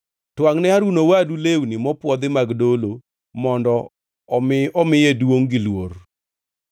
Twangʼne Harun owadu lewni mopwodhi mag dolo mondo omi omiye duongʼ gi luor.